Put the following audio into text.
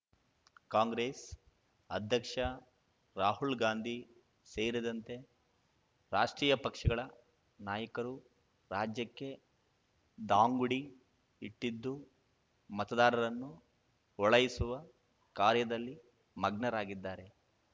ಕಾಂಗ್ರೆಸ್ ಅಧ್ಯಕ್ಷ ರಾಹುಲ್ ಗಾಂಧಿ ಸೇರಿದಂತೆ ರಾಷ್ಟ್ರೀಯ ಪಕ್ಷಗಳ ನಾಯಕರು ರಾಜ್ಯಕ್ಕೆ ದಾಂಗುಡಿ ಇಟ್ಟಿದ್ದು ಮತದಾರರನ್ನು ಓಳೈಸುವ ಕಾರ್ಯದಲ್ಲಿ ಮಗ್ನರಾಗಿದ್ದಾರೆ